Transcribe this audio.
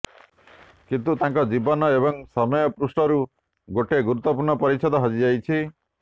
କିନ୍ତୁ ତାଙ୍କ ଜୀବନ ଏବଂ ସମୟ ପୃଷ୍ଠାରୁ ଗୋଟେ ଗୁରୁତ୍ୱପୂର୍ଣ୍ଣ ପରିଚ୍ଛେଦ ହଜି ଯାଇଛି